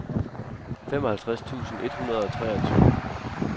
femoghalvtreds tusind et hundrede og treogtyve